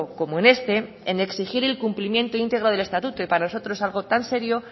como en este en exigir el cumplimiento íntegro del estatuto y para nosotros algo tan serio